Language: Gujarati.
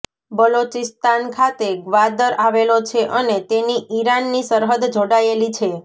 બલોચિસ્તાન ખાતે ગ્વાદર આવેલો છે અને તેની ઈરાનની સરહદ જોડાયેલી છે